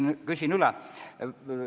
Küsin üle.